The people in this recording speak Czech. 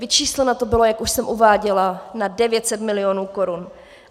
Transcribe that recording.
Vyčísleno to bylo, jak už jsem uváděla, na 900 mil. korun.